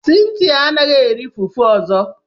Cynthia anaghi eri fufu ozo.